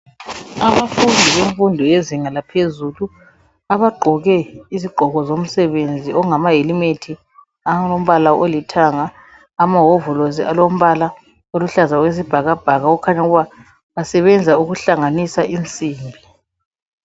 Abafundi benfundo yezinga laphezulu, abagqoke izigqoko zomsebenzi .Okungama helimethi alombala olithanga, amahovolosi alombala oluhlaza okwesibhakabhaka. Okukhanya ukuba basebenza ukuhlanganisa insimbi.